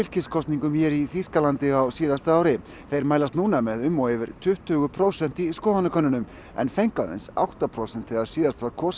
fylkiskosningum hér í Þýskalandi á síðasta ári þeir mælast núna með um og yfir tuttugu prósent í skoðanakönnunum en fengu aðeins átta prósent þegar síðast var kosið